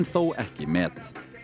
þó ekki met